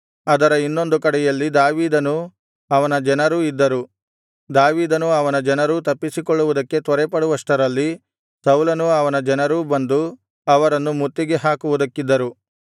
ಅದರ ಇನ್ನೊಂದು ಕಡೆಯಲ್ಲಿ ದಾವೀದನೂ ಅವನ ಜನರೂ ಇದ್ದರು ದಾವೀದನೂ ಅವನ ಜನರೂ ತಪ್ಪಿಸಿಕೊಳ್ಳುವುದಕ್ಕೆ ತ್ವರೆಪಡುವಷ್ಟರಲ್ಲಿ ಸೌಲನೂ ಅವನ ಜನರೂ ಬಂದು ಅವರನ್ನು ಮುತ್ತಿಗೆ ಹಾಕುವುದಕ್ಕಿದ್ದರು